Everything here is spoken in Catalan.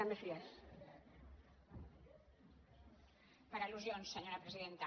per al·lusions senyora presidenta